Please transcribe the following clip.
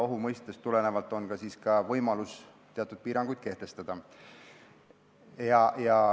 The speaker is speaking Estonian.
Ohu mõistest tulenevalt on ka võimalus teatud piiranguid kehtestada.